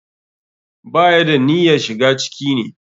Ba ya da niyyarshiga ciki ne.